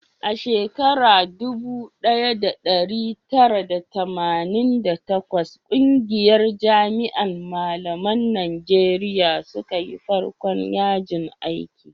a shekara dubu daya da dari tara da tamanin da takwas ƙungiyar jami'an malaman najeriya suka yi farkon yajin aiki